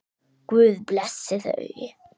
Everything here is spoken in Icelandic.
Guð blessi þau.